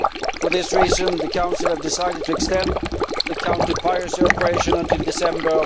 For this reason, the Council has decided to extend the counter piracy operation until December